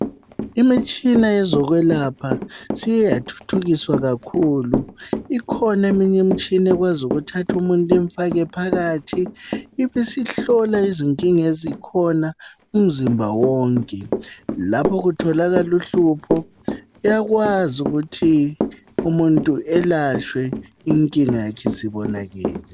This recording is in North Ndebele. Imtshina yezokwelapha siye yathuthukiswa kakhulu. Ikhona eminye imtshina ekwazi ukuthatha umuntu imfake phakathi. Ibisihlola izinkinga ezikhona umzimba wonke, lapho kutholakal' uhlupho uyakwazi ukuthi umuntu ayelatse inkinga yakhe isibonakele.